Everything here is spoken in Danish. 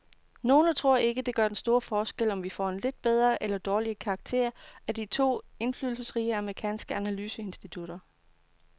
Nogle tror ikke, det gør den store forskel, om vi får en lidt bedre eller dårligere karakter af de to indflydelsesrige amerikanske analyseinstitutter.